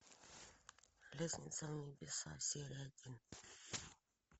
лестница в небеса серия один